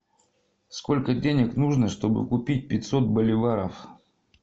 сколько денег нужно чтобы купить пятьсот боливаров